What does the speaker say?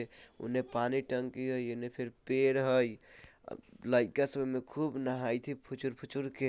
ओने पानी टंकी हई एने फिर पेड़ हई आ लइका सब ओमे खूब नहाइत हई फूचर-फूचर के।